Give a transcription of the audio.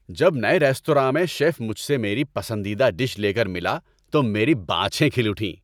جب نئے ریستوراں میں شیف مجھ سے میری پسندیدہ ڈش لے کر ملا تو میری باچھیں کھل اٹھیں۔